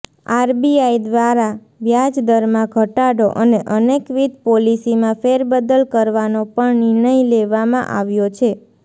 RBI દ્વારા વ્યાજદરમાં ઘટાડો અને અનેકવિધ પોલીસીમાં ફેરબદલ કરવાનો પણ નિર્ણય લેવામાં આવ્યો છે